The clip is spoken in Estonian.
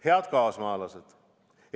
Head kaasmaalased!